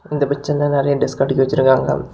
இந்த பிக்சர்ல நெறய டெஸ்க் அடிக்கி வச்சுருக்காங்க.